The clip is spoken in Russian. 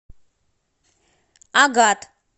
агат